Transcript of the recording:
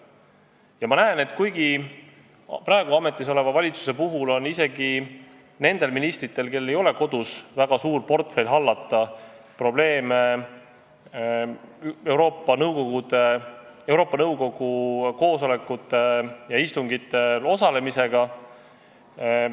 Ja ma näen, et praegu ametis oleva valitsuse puhul on isegi nendel ministritel, kellel ei ole kodus väga suur portfell hallata, probleeme Euroopa Nõukogu koosolekutel ja istungitel osalemisega.